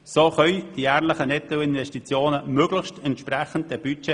So entsprechen die jährlichen Nettoinvestitionen möglichst weitgehend dem Budget.